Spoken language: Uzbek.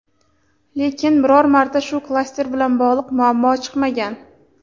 lekin biror marta shu klaster bilan bog‘liq muammo chiqmagan.